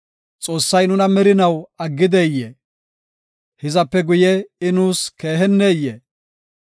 “Xoossay nuna merinaw aggideyee? hizape guye I nuus keeheneyee?